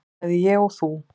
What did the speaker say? bæði ég og þú.